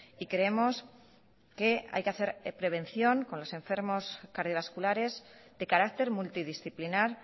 y creemos que hay que hacer prevención con los enfermos cardiovasculares de carácter multidisciplinar